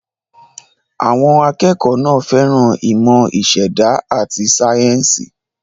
Àwọn akẹ́kọ̀ọ́ náà fẹ́ràn ìmọ̀ ìṣẹ̀dá àti sáyẹ́ńsì.